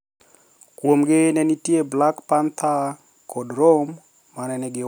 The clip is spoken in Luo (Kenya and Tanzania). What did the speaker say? Kuomgi ne nitie Black Panther kod Rome, ma ne nigi huma.